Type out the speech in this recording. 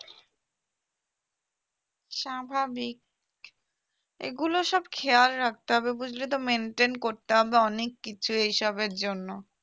স্বাভাবিক এগুলো সব খেয়াল রাখতে হবে বুঝলি তো maintain করতে হবে অনেক কিছুই এইসবের জন্য